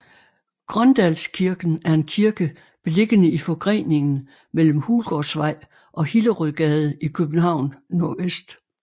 Grøndalskirken er en kirke beliggende i forgreningen mellem Hulgårdsvej og Hillerødgade i København NV